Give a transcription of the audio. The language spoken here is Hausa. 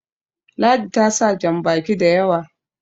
ladi ta sa jan baki da yawa